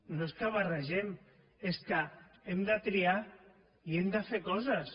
no és que barregem és que hem de triar i hem de fer coses